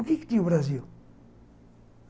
O quê que tinha o Brasil?